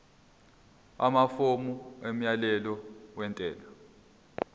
amafomu omyalelo wentela